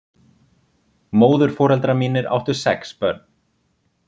Móðurforeldrar mínir áttu sex börn.